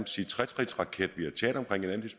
sige tretrinsraket